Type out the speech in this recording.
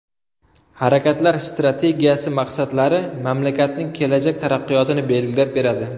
Harakatlar strategiyasi maqsadlari mamlakatning kelajak taraqqiyotini belgilab beradi.